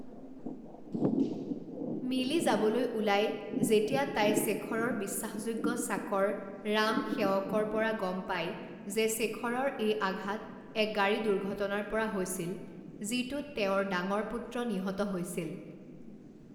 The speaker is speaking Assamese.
মিলি যাবলৈ ওলাই যেতিয়া তাই শেখৰৰ বিশ্বাসযোগ্য চাকৰ ৰাম সেৱকৰ পৰা গম পায় যে শেখৰৰ এই আঘাত এক গাড়ী দুৰ্ঘটনাৰ পৰা হৈছিল যিটোত তেওঁৰ ডাঙৰ পুত্ৰ নিহত হৈছিল।